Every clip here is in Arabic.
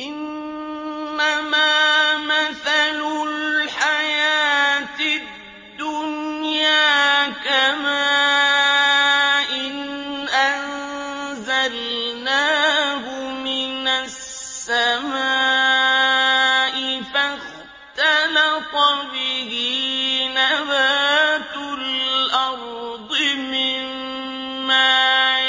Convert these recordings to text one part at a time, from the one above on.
إِنَّمَا مَثَلُ الْحَيَاةِ الدُّنْيَا كَمَاءٍ أَنزَلْنَاهُ مِنَ السَّمَاءِ فَاخْتَلَطَ بِهِ نَبَاتُ الْأَرْضِ مِمَّا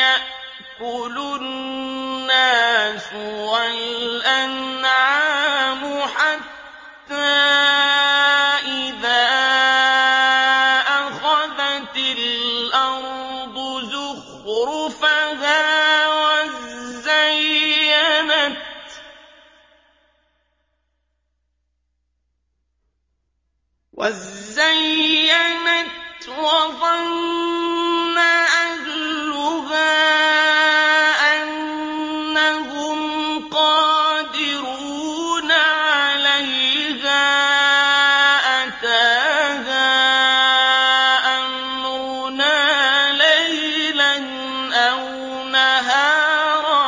يَأْكُلُ النَّاسُ وَالْأَنْعَامُ حَتَّىٰ إِذَا أَخَذَتِ الْأَرْضُ زُخْرُفَهَا وَازَّيَّنَتْ وَظَنَّ أَهْلُهَا أَنَّهُمْ قَادِرُونَ عَلَيْهَا أَتَاهَا أَمْرُنَا لَيْلًا أَوْ نَهَارًا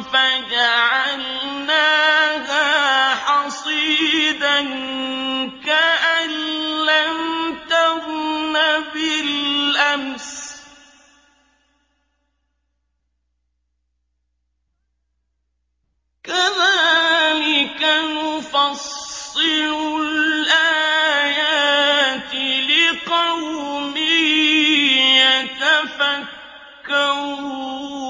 فَجَعَلْنَاهَا حَصِيدًا كَأَن لَّمْ تَغْنَ بِالْأَمْسِ ۚ كَذَٰلِكَ نُفَصِّلُ الْآيَاتِ لِقَوْمٍ يَتَفَكَّرُونَ